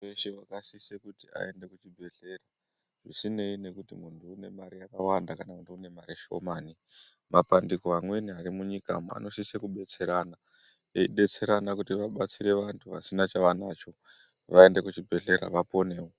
Munthu weshe wakasise kuti aende kuchibhedhlera, azvineyi nekuti uyu une mare yakawanda uyu une shomani, mabandiko amweni ari munyika umwu anosise kudetsera anthu, eidetserana kuti vabatsire vanthu vasina chavanacho, vaende kuchibhedhlera, vaponewo.